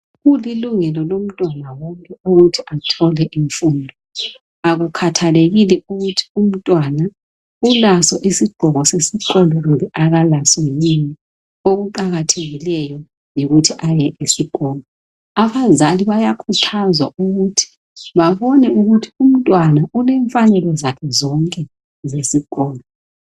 Kulilungelo lomntwana wonke ukuthi athole imfundo. Akukhathalekile ukuthi umntwana ulaso isigqoko sesikolo kumbe akalaso yini. Okuqakathekileyo yikuthi aye esikolo. Abazali bayakhuthazwa ukuthi babone ukuthi umntwana ulemfanelo zakhe zonke zesikolo.